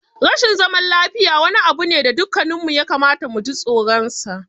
Rashin zaman lafiya wani abu ne da dukanmu ya kamata mu ji tsoronsa.